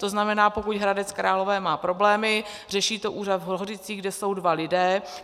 To znamená, pokud Hradec Králové má problémy, řeší to úřad v Hořicích, kde jsou dva lidé.